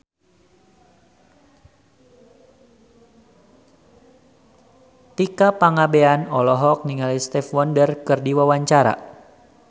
Tika Pangabean olohok ningali Stevie Wonder keur diwawancara